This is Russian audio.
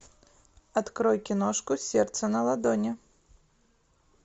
открой киношку сердце на ладони